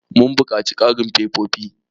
Mun buƙaci ƙarin fefofi.